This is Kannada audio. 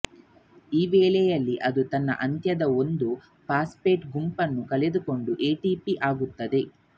ಈವೇಳೆಯಲ್ಲಿ ಅದು ತನ್ನ ಅಂತ್ಯದ ಒಂದು ಫಾಸ್ಪೇಟ್ ಗುಂಪನ್ನು ಕಳೆದುಕೊಂಡು ಎಟಿಪಿ ಆಗುತ್ತದೆ